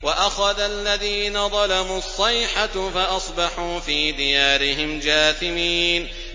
وَأَخَذَ الَّذِينَ ظَلَمُوا الصَّيْحَةُ فَأَصْبَحُوا فِي دِيَارِهِمْ جَاثِمِينَ